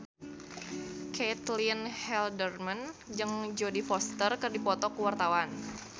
Caitlin Halderman jeung Jodie Foster keur dipoto ku wartawan